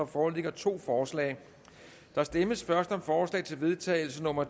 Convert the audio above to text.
foreligger to forslag der stemmes først om forslag til vedtagelse nummer